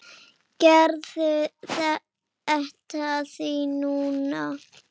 Gerðu þetta því núna!